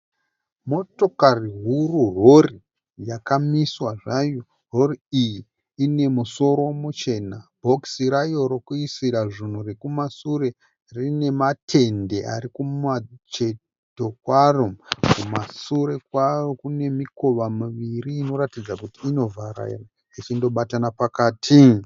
Motokari huru rori yakamiswa zvayo. Rori iyi ine musoro muchena. Bhokisi rayo rokuisira zvunhu rekumasure rine matende ari kumacheto kwaro. Kumashure kwayo kune mikova miviri inoratidza kuti inovhara ichindobatana pakati.